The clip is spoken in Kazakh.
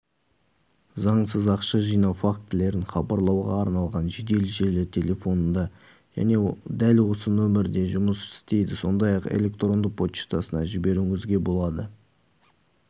заңсыз ақша жинау фактілерін хабарлауға арналған жедел желі телефонында және дәл осы нөмірде жұмыс істейді сондай-ақ электронды поштасына жіберуіңізге болады